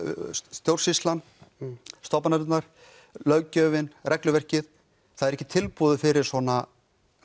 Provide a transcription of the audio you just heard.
stjórnsýslan stofnanirnar löggjöfin regluverkið það er ekki tilbúið fyrir svona